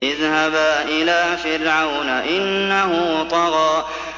اذْهَبَا إِلَىٰ فِرْعَوْنَ إِنَّهُ طَغَىٰ